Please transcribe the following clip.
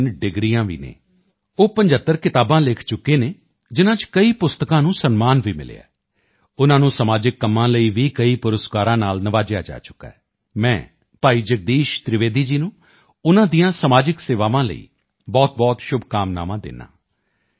ਦੀਆਂ 3 ਡਿਗਰੀਆਂ ਵੀ ਹਨ ਉਹ 75 ਕਿਤਾਬਾਂ ਲਿਖ ਚੁੱਕੇ ਹਨ ਜਿਨ੍ਹਾਂ ਚ ਕਈ ਪੁਸਤਕਾਂ ਨੂੰ ਸਨਮਾਨ ਵੀ ਮਿਲਿਆ ਹੈ ਉਨ੍ਹਾਂ ਨੂੰ ਸਮਾਜਿਕ ਕੰਮਾਂ ਲਈ ਵੀ ਕਈ ਪੁਰਸਕਾਰਾਂ ਨਾਲ ਨਿਵਾਜਿਆ ਜਾ ਚੁੱਕਾ ਹੈ ਮੈਂ ਭਾਈ ਜਗਦੀਸ਼ ਤ੍ਰਿਵੇਦੀ ਜੀ ਨੂੰ ਉਨ੍ਹਾਂ ਦੀਆਂ ਸਮਾਜਿਕ ਸੇਵਾਵਾਂ ਲਈ ਬਹੁਤਬਹੁਤ ਸ਼ੁਭਕਾਮਨਾਵਾਂ ਦਿੰਦਾ ਹਾਂ